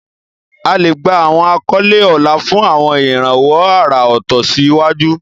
A lè gba àwọn àkọlé ọlá fún àwọn ìrànwọ́ àrà ọ̀tọ̀ sí àwùjọ.